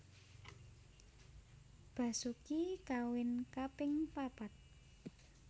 Basoeki kawin kaping papat